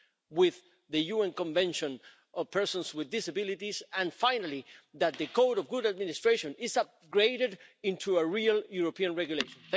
with the UN Convention on persons with disabilities, and, finally, that the code of good administration is upgraded into a real European regulation.